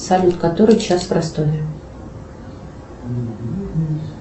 салют который час в ростове